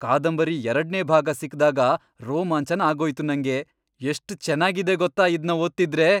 ಕಾದಂಬರಿ ಎರಡ್ನೇ ಭಾಗ ಸಿಕ್ದಾಗ ರೋಮಾಂಚನ ಆಗೋಯ್ತು ನಂಗೆ, ಎಷ್ಟ್ ಚೆನ್ನಾಗಿದೆ ಗೊತ್ತಾ ಇದ್ನ ಓದ್ತಿದ್ರೆ!